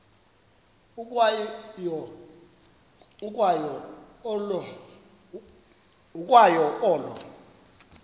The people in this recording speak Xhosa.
ukwa yo olo